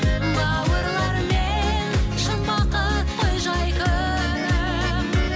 бауырлармен шын бақыт қой жай күнім